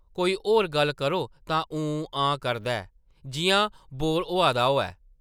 कोई होर गल्ल करो तां ‘हां-हूं’ करदा ऐ जिʼयां बोर होआ दा होऐ ।